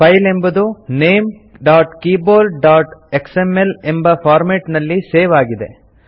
file ಎಂಬುದು ltnamegtkeyboardಎಕ್ಸ್ಎಂಎಲ್ ಎಂಬ ಫಾರ್ಮೇಟ್ ನಲ್ಲಿ ಸೇವ್ ಆಗಿದೆ